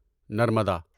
Narmada